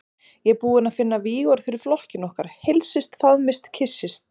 Ég er búinn að finna vígorð fyrir flokkinn okkar: Heilsist, faðmist, kyssist.